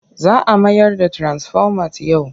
Za a mayar da tirasifomat yau.